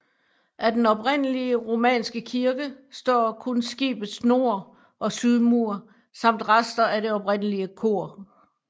Af den oprindelige romanske kirke står kun skibets nord og sydmur samt rester af det oprindelige kor